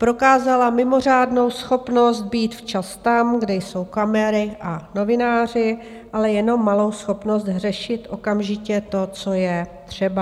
Prokázala mimořádnou schopnost být včas tam, kde jsou kamery a novináři, ale jenom malou schopnost řešit okamžitě to, co je třeba.